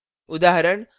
while loop